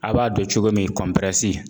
A b'a dɔn cogo min kɔnpirɛsi.